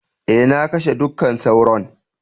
Eh, na kashe dukka sauron.